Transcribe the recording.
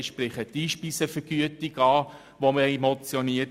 Ich spreche zum Beispiel die Motion zur Einspeisevergütung an.